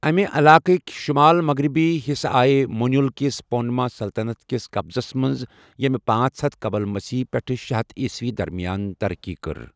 اَمہِ علاقٕکۍ شُمال مغرِبی حِصہٕ آیہٕ مونیوٗل كِس مونٛپا سلطَنت کِس قبضس منٛز، ییمہِ پانژھ ہتھَ قبل مسیح پٮ۪ٹھٕہ شے ہتھَ عیٖسوی درمِیان ترقی کٔر۔